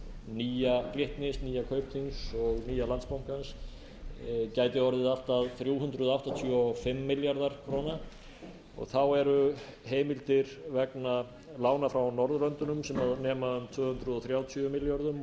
nýja glitnis nýja kaupþings og nýja landsbankans gæti orðið allt að þrjú hundruð áttatíu og fimm milljarðar króna þá eru heimildir vegna lánafrá norðurlöndunum sem nema um tvö hundruð þrjátíu milljörðum